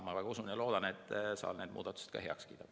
Ma väga usun ja loodan, et saal need muudatused ka heaks kiidab.